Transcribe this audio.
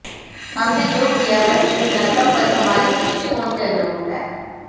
हमने जो किया वह श्रीलंका पर हमारे दृष्टिकोण के अनुरूप है